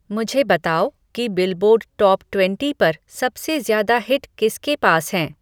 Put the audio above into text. मुझे बताओ कि बिलबोर्ड टॉप ट्वेंटी पर सबसे ज्यादा हिट किसके पास है